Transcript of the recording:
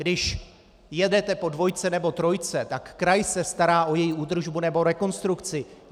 Když jedete po dvojce nebo trojce, tak kraj se stará o její údržbu nebo rekonstrukci.